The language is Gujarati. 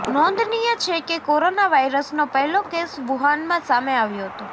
નોંધનીય છે કે કોરોના વાયરસનો પહેલો કેસ વુહાનમાં સામે આવ્યો હતો